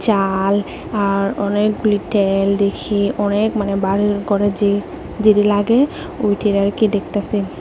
ডাল আর অনেকগুলি টেল দেখিয়ে অনেক মান বার করেছে যদি লাগে ওইটা আর কি দেখতাসে।